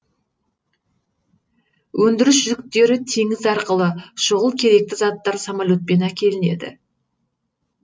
өндіріс жүктері теңіз арқылы шұғыл керекті заттар самоле тпен әкелінеді